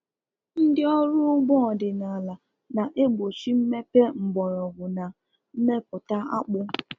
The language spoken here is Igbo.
Ndị ọrụ ugbo ọdịnala na-egbochi mmepe mgbọrọgwụ na mmepụta akpu